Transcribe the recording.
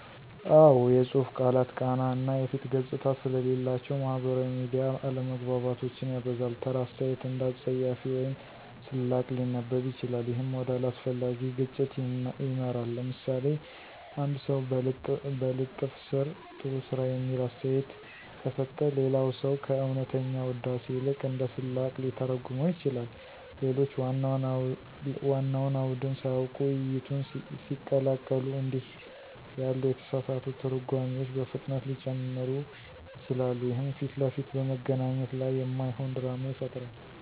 አዎ፣ የጽሁፍ ቃላት ቃና እና የፊት ገጽታ ስለሌላቸው ማህበራዊ ሚዲያ አለመግባባቶችን ያበዛል። ተራ አስተያየት እንደ አፀያፊ ወይም ስላቅ ሊነበብ ይችላል፣ ይህም ወደ አላስፈላጊ ግጭት ይመራል። ለምሳሌ፣ አንድ ሰው በልጥፍ ስር “ጥሩ ስራ” የሚል አስተያየት ከሰጠ፣ ሌላ ሰው ከእውነተኛ ውዳሴ ይልቅ እንደ ስላቅ ሊተረጉመው ይችላል። ሌሎች ዋናውን አውድን ሳያውቁ ውይይቱን ሲቀላቀሉ እንዲህ ያሉ የተሳሳቱ ትርጓሜዎች በፍጥነት ሊጨምሩ ይችላሉ፣ ይህም ፊት ለፊት በመገናኘት ላይ የማይሆን ድራማ ይፈጥራል።